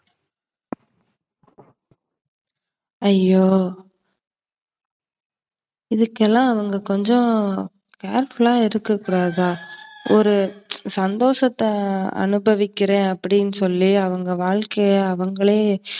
அய்யோ. இதுக்கெல்லாம் அவங்க கொஞ்சம் careful ஆ இருக்ககூடாதா? ஒரு சந்தோசத்த அனுபவிக்கிறேன் அப்டினு சொல்லி அவங்க வாழ்க்கைய அவங்களே